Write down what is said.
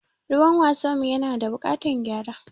Ruwan wasan mu ya na da buƙatan gyara.